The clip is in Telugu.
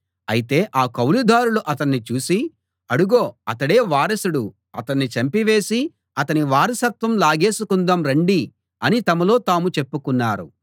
అయితే ఆ కౌలుదారులు అతణ్ణి చూసి అడుగో అతడే వారసుడు అతణ్ణి చంపివేసి అతని వారసత్వం లాగేసుకుందాం రండి అని తమలో తాము చెప్పుకున్నారు